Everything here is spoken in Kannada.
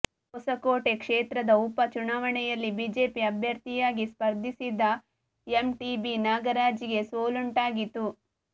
ಹೊಸಕೋಟೆ ಕ್ಷೇತ್ರದ ಉಪ ಚುನಾವಣೆಯಲ್ಲಿ ಬಿಜೆಪಿ ಅಭ್ಯರ್ಥಿಯಾಗಿ ಸ್ಪರ್ಧಿಸಿದ್ದ ಎಂಟಿಬಿ ನಾಗರಾಜ್ ಗೆ ಸೋಲುಂಟಾಗಿತ್ತು